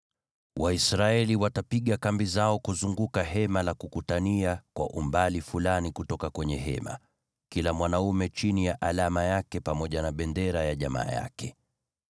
“Waisraeli watapiga kambi zao kuzunguka Hema la Kukutania kwa umbali fulani kutoka kwenye hema, kila mwanaume chini ya alama yake pamoja na bendera ya jamaa yake.”